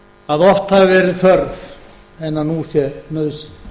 að oft hafi verið þörf en nú sé nauðsyn